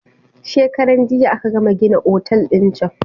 Shekaran jiya aka gama gina otal din can.